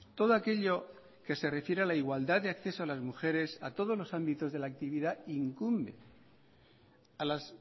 todo aquello que se refiere a la igualdad de acceso a las mujeres a todos los ámbitos de la actividad incumbe a las